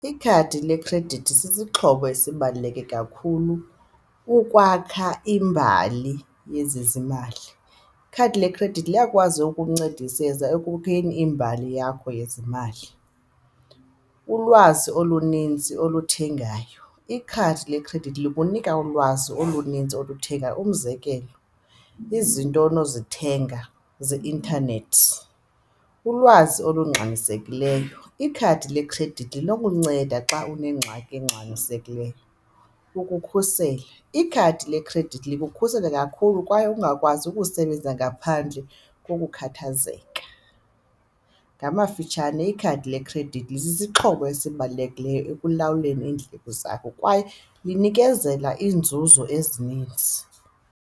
Ikhadi lekhredithi sisixhobo esibaluleke kakhulu ukwakha imbali yezezimali. Ikhadi lekhredithi liyakwazi ukumncedisa ekokheni imbali yakho yezimali. Ulwazi oluninzi oluthengayo, ikhadi lekhredithi likunika ulwazi oluninzi oluthengwayo umzekelo, izinto onozithenga zeintanethi, ulwazi olungxamisekileyo. Ikhadi lekhredithi linokunceda xa unengxaki engxamisekileyo, ukukhusela. Ikhadi lekhredithi likukhusela kakhulu kwaye ungakwazi ukusebenza ngaphandle kokukhathazeka. Ngamafitshane, ikhadi lekhredithi lisisixhobo esibalulekileyo ekulawuleni iindleko zakho kwaye linikezela iinzuzo ezininzi.